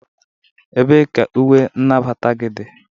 ebee ka uwe nagbata gị dị?